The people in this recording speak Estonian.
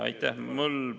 Aitäh!